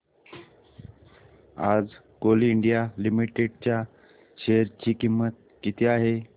आज Coal India Limited च्या share ची किंमत किती आहे